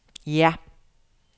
ja